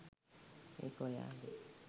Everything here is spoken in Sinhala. ඒක ඔයාගෙ